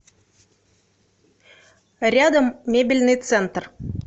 рядом мебельный центр